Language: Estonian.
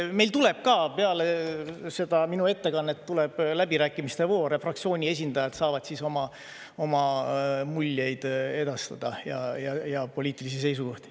Meil tuleb ka peale minu ettekannet läbirääkimiste voor ja fraktsiooniesindajad saavad oma muljeid edastada ja poliitilisi seisukohti.